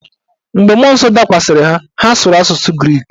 Mgbe mmụọ nsọ dakwasịrị ha, ha sụrụ asụsụ grik.